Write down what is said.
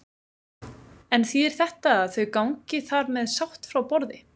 En þýðir þetta að þau gangi þar með sátt frá borði?